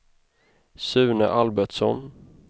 Sune Albertsson